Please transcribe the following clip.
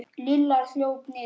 Lilla hljóp niður.